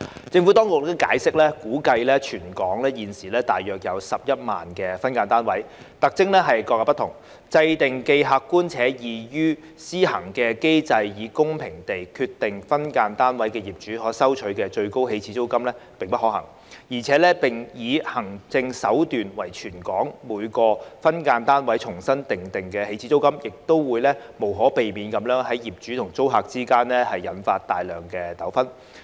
政府當局解釋，估計全港現時有大約11萬個分間單位，特徵各有不同，制訂既客觀且易於施行的機制以公平地決定分間單位業主可收取的最高起始租金並不可行，而且以行政手段為全港每個分間單位重新訂定起始租金，亦會無可避免地在業主與租客之間引發大量糾紛。